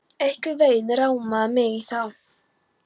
Einhvern veginn rámaði mig í það